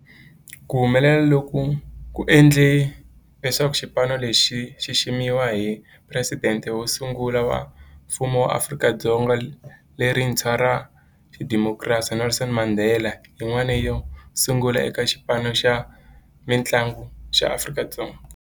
Ku humelela loku ku endle leswaku xipano lexi xi xiximiwa hi Presidente wo sungula wa Mfumo wa Afrika-Dzonga lerintshwa ra xidemokirasi, Nelson Mandela, yin'wana yo sungula eka xipano xa mintlangu xa Afrika-Dzonga.